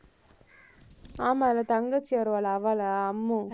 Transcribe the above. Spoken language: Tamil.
ஆமால்ல, தங்கச்சியா வருவாளா அவளா, அம்மு